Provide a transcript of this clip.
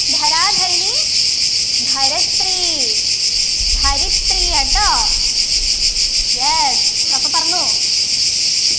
ധര ധരണി ധരത്രി ധരിത്രിയെട്ടോ yes അപ്പൊ പറഞ്ഞോ